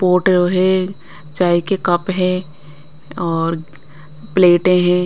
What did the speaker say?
Pot है चाय के कप है और प्लेटें हैं।